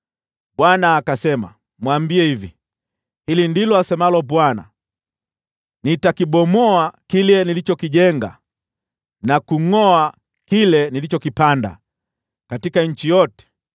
Bwana akasema, “Mwambie hivi: ‘Hili ndilo asemalo Bwana : Nitakibomoa kile nilichokijenga, na kungʼoa kile nilichokipanda katika nchi yote.